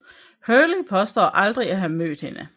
Hurley påstår aldrig at have mødt hende